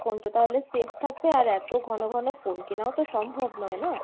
phone টা তাহলে safe থাকবে আর এতো ঘন ঘন phone কেনাও তো সম্ভব নয় না?